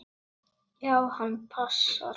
Já, hann passar.